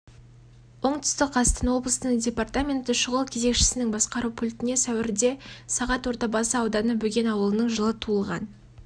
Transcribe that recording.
оңтүстік қазақстан облысының департаменті шұғыл кезекшісінің басқару пультіне сәуірде сағат ордабасы ауданы бөген ауылының жылы туылған